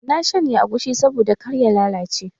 Na shanya agushi saboda kar ya lalace